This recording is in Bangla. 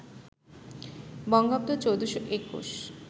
বঙ্গাব্দ ১৪২১